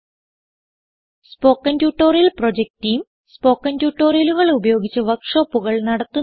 spoken tutorial project team spoken ട്യൂട്ടോറിയലുകൾ ഉപയോഗിച്ച് വർക്ക് ഷോപ്പുകൾ നടത്തുന്നു